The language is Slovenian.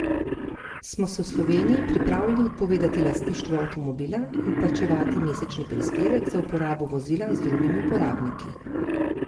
Smo se v Sloveniji pripravljeni odpovedati lastništvu avtomobila in plačevati mesečni prispevek za uporabo vozila z drugimi uporabniki?